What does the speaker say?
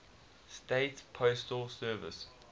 states postal service